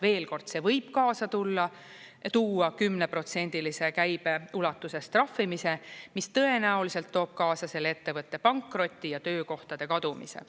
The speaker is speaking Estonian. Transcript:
Veel kord: see võib kaasa tuua 10%-lise käibe ulatuses trahvimise, mis tõenäoliselt toob kaasa selle ettevõtte pankroti ja töökohtade kadumise.